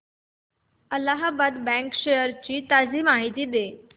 Allahabad bank shares ची ताजी माहिती दे